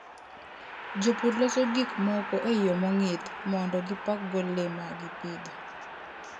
Jopur loso gik moko e yo mong'ith mondo gipakgo le ma gipidho.